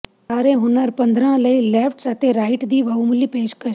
ਸਾਰੇ ਹੁਨਰ ਪੱਧਰਾਂ ਲਈ ਲੇਫਟਸ ਅਤੇ ਸ਼ਾਫਟ ਦੀ ਬਹੁਮੁੱਲੀ ਪੇਸ਼ਕਸ਼